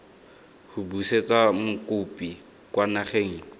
go busetsa mokopi kwa nageng